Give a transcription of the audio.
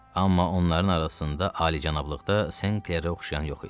Amma onların arasında alicənablıqda Senklere oxşayan yox idi.